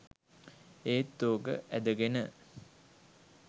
ඒත් ඕක ඇදගෙන